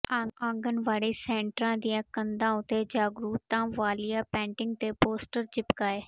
ਆਂਗਨਵਾੜੀ ਸੈਂਟਰਾਂ ਦੀਆਂ ਕੰਧਾਂ ਉਤੇ ਜਾਗਰੂਕਤਾ ਵਾਲੀਆਂ ਪੇਂਟਿੰਗ ਤੇ ਪੋਸਟਰ ਚਿਪਕਾਏ